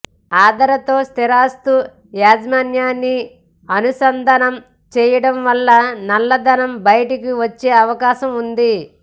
ఆధార్ తో స్థిరాస్తి యాజమాన్యాన్ని అనుసంధానం చేయడం వల్ల నల్లధనం బయటికి వచ్చే అవకాశం ఉంది